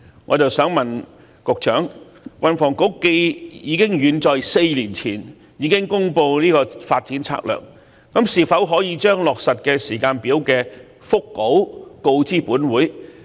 我想問局長，既然運房局早在4年前已公布《策略》，是否可將上述落實時間表的腹稿告知本會？